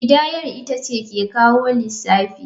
Kidayar ita ce ke kawo lissafi.